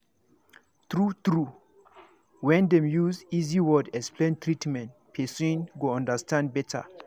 true true when dem use easy words explain treatment person go understand better